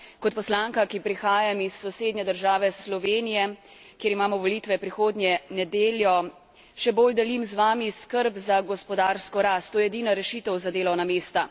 Kot poslanka, ki prihajam iz sosednje države Slovenije, kjer imamo volitve prihodnjo nedeljo, še bolj delim z vami skrb za gospodarsko rast. To je edina rešitev za delovna mesta.